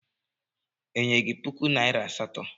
Enyere gi puku naịra asatọ?